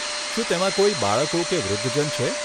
શું તેમાં કોઈ બાળકો કે વૃદ્ધજન છે?